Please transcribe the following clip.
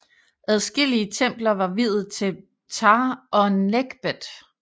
Adskillige templer var viet til Ptah og Nekhbet